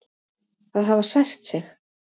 Það hafi sært sig.